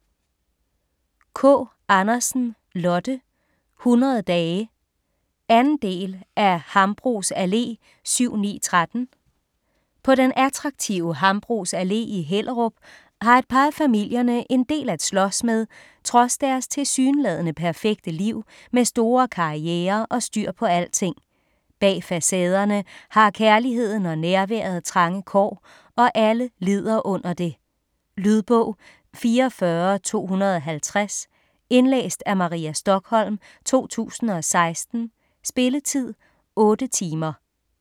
Kaa Andersen, Lotte: 100 dage 2. del af Hambros Allé 7-9-13. På den attraktive Hambros Allé i Hellerup har et par af familierne en del at slås med trods deres tilsyneladende perfekte liv med store karrierer og styr på alting. Bag facaderne har kærligheden og nærværet trange kår, og alle lider under det. Lydbog 44250 Indlæst af Maria Stokholm, 2016. Spilletid: 8 timer.